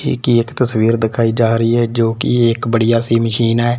एक एक तस्वीर दिखाई जा रही है जो की एक बढ़िया सी मशीन है।